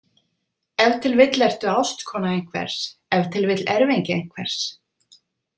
Ef til vill ertu ástkona einhvers, ef til vill erfingi einhvers.